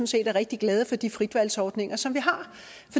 set er rigtig glade for de fritvalgsordninger som